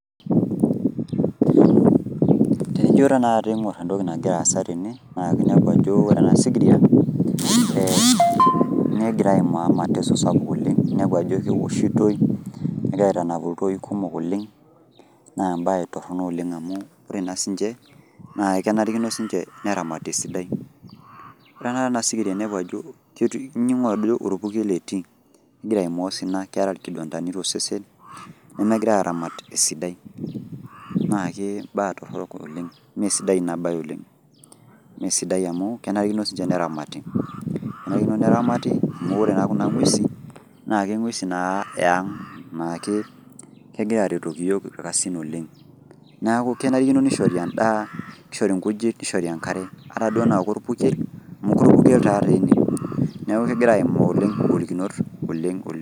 Tenijo tanakata aing'or entoki nagira aasa tene, naa kinepu ajo ore enasikiria, negira aimaa mateso sapuk oleng, inepu ajo kewoshitoi, nenap iltoi kumok oleng, naa ebae torrono oleng amu ore naa sinche, na kenarikino sinche neramati esidai. Ore tanakata enasikiria inepu ajo ining' ajo orpukel etii. Egira aimaa osina, keeta nkidondani tosesen, nemegirai aramat esidai. Nakee baa torrok oleng. Mesidai inabae oleng. Mesidai amu, kenarikino sinche neramati. Kenarikino neramati, amu ore naa kuna ng'uesin, naa ke ng'uesin naa eang'. Nakegira aretoki yiok irkasin oleng'. Neeku kenarikino nishori endaa, nishori nkujit, nishori enkare. Ata duo ena korpukel, amu orpukel tadi ene, neeku kegira aimaa oleng igolikinot oleng oleng.